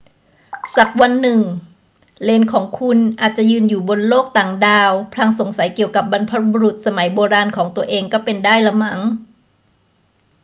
สักวันหนึ่ง เหลนของคุณอาจจะยืนอยู่บนโลกต่างดาวพลางสงสัยเกี่ยวกับบรรพบุรุษสมัยโบราณของตัวเองก็เป็นได้ล่ะมั้ง